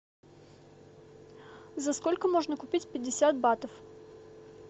за сколько можно купить пятьдесят батов